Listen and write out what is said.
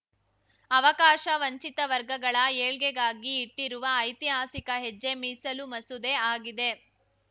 ಅವಕಾಶವಂಚಿತ ವರ್ಗಗಳ ಏಳ್ಗೆಗಾಗಿ ಇಟ್ಟಿರುವ ಐತಿಹಾಸಿಕ ಹೆಜ್ಜೆ ಮೀಸಲು ಮಸೂದೆ ಆಗಿದೆ